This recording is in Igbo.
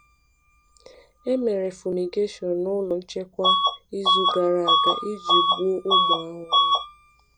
E mere fumigation n’ụlọ nchekwa izu gara aga iji gbuo ụmụ ahụhụ.